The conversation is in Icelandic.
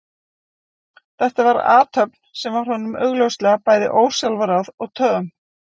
Þetta var athöfn sem var honum augljóslega bæði ósjálfráð og töm.